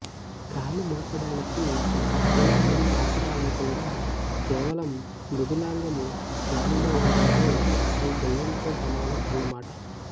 కాలు మోపడానికి కఠినాంగం ఆసరా లేకుండా కేవలం మృదులాంగం గాలిలో ఉందంటే అది దయ్యంతో సమానం అన్నమాట